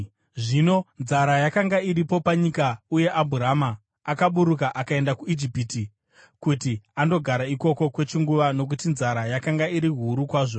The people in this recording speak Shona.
Zvino nzara yakanga iripo panyika, uye Abhurama akaburuka akaenda kuIjipiti kuti andogara ikoko kwechinguva nokuti nzara yakanga iri huru kwazvo.